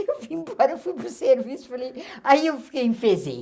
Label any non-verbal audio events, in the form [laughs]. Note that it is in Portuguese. Eu fui embora [laughs] eu fui para o serviço, e falei, aí eu fiquei enfezei.